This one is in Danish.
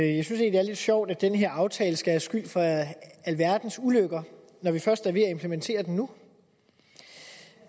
egentlig det er lidt sjovt at den her aftale skal have skyld for alverdens ulykker når vi først er ved at implementere den nu